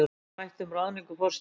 Rætt um ráðningu forstjórans